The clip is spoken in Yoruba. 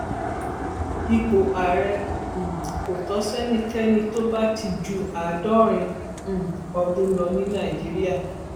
ipò àárẹ um kò tó sẹnikẹni tó bá ti ju àádọrin um ọdún lọ ní nàìjíríà